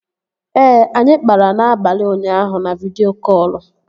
Ee, anyị kpara n'abalị ụnyaahụ na vidịo kọlụ